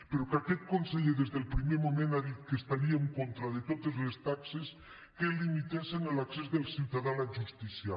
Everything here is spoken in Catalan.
però aquest conseller des del primer moment ha dit que estaria en contra de totes les taxes que limitessen l’accés del ciutadà a la justícia